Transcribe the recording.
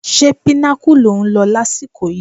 Ṣé Pinnacle lò ń lọ lásìkò yìí?